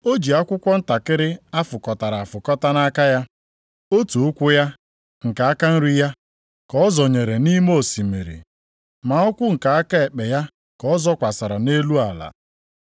O ji akwụkwọ ntakịrị a fụkọtara afụkọta nʼaka ya. Otu ụkwụ ya, nke aka nri ya, ka ọ zọnyere nʼime osimiri, ma ụkwụ nke aka ekpe ya ka ọ zọkwasịrị nʼelu ala.